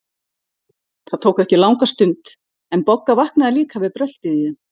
Það tók ekki langa stund, en Bogga vaknaði líka við bröltið í þeim.